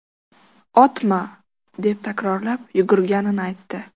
Otma!” deb takrorlab yurganini aytdi.